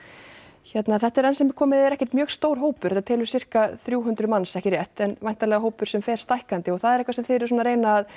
hérna þetta er enn sem komið er ekkert mjög stór hópur hann telur sirka þrjú hundruð manns ekki rétt en væntanlega hópur sem fer stækkandi og það er eitthvað svona sem þið eruð að reyna að